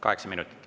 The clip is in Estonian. Kaheksa minutit.